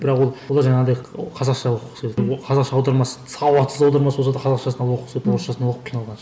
бірақ ол ол жаңағыдай қазақша қазақша аудармасы сауатсыз аудармасы болса да қазақшасын алып оқып орысшасын оқып қиналғанша